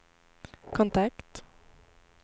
kontakt